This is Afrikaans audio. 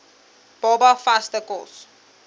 baba vaste kos